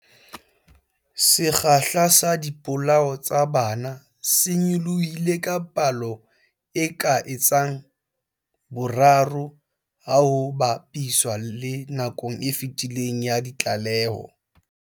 Sekgahla sa dipolao tsa bana se nyolohile ka palo e ka etsang boraro ha ho ba piswa le nakong e fetileng ya ditlaleho.